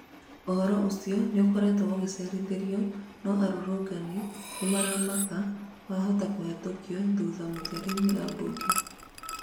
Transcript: ũhoro ũcio nĩũkoretwo ũgĩcerithĩrĩo, no arũrũngani nĩmaramaka wahota kũhetũkio thutha mũtherĩ nĩ ambunge.